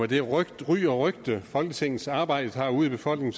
det ry og rygte folketingsarbejdet har ude i befolkningen